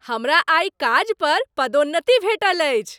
हमरा आइ काज पर पदोन्नति भेटल अछि।